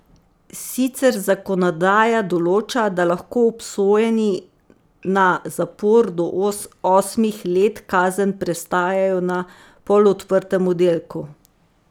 Sicer zakonodaja določa, da lahko obsojeni na zapor do osmih let kazen prestajajo na polodprtem oddelku.